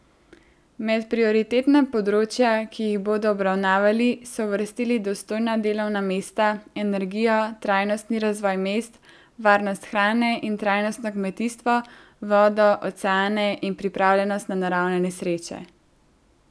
Med prioritetna področja, ki jih bodo obravnavali, so uvrstili dostojna delovna mesta, energijo, trajnostni razvoj mest, varnost hrane in trajnostno kmetijstvo, vodo, oceane in pripravljenost na naravne nesreče.